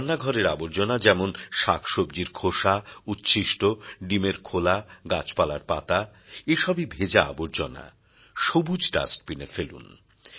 রান্নাঘরের আবর্জনা যেমন শাক সব্জির খোসা উচ্ছিষ্ট ডিমের খোলা গাছপালার পাতা এসবই ভেজা আবর্জনা সবুজ ডাস্টবিন এ ফেলুন